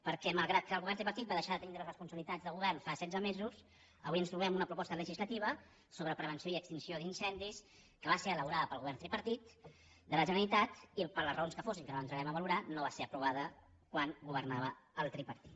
per·què malgrat que el govern tripartit va deixar de tin·dre responsabilitats de govern fa setze mesos avui ens trobem una proposta legislativa sobre prevenció i ex·tinció d’incendis que va ser elaborada pel govern tri·partit de la generalitat i per les raons que fossin que no entrarem a valorar no va ser aprovada quan gover·nava el tripartit